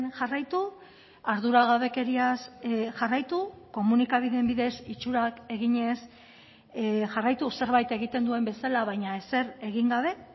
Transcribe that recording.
jarraitu arduragabekeriaz jarraitu komunikabideen bidez itxurak eginez jarraitu zerbait egiten duen bezala baina ezer egin gabe